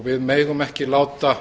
við megum ekki láta